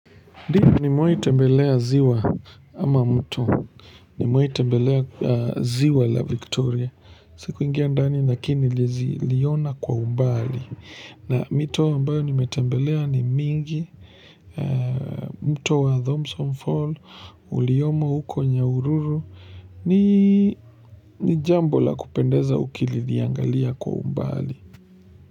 Ndi nimewahi tembelea ziwa ama mtu nimewahi tembelea ziwa la Victoria sikuingia ndani lakini niliziliona kwa umbali na mito ambayo nimetembelea ni mingi mto wa Thompson fall uliyomo huko Nyahururu ni ni jambo la kupendeza ukili liangalia kwa umbali.